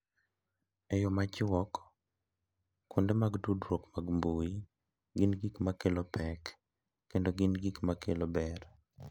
E yo machuok, kuonde mag tudruok mag mbui gin gik ma kelo pek kendo gin gik ma kelo ber.